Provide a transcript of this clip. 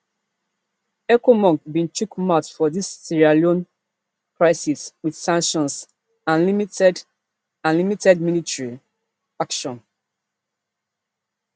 ecomog bin chiok mouth for di sierra leone crisis wit sanctions and limited and limited military action